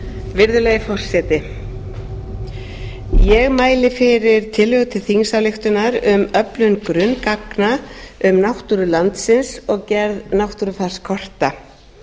virðulegi forseti ég mæli fyrir tillögu til þingsályktunar um öflun grunngagna um náttúru landsins og gerð náttúrufarskorta